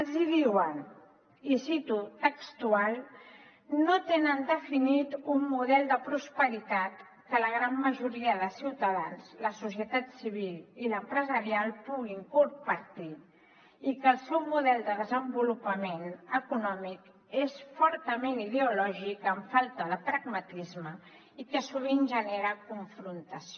els diuen i cito textualment no tenen definit un model de prosperitat que la gran majoria de ciutadans la societat civil i l’empresarial puguin compartir i que el seu model de desenvolupament econòmic és fortament ideològic amb falta de pragmatisme i que sovint genera confrontació